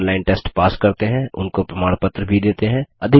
जो online test pass करते हैं उनको प्रमाण पत्र भी देते हैं